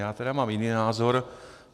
Já tedy mám jiný názor.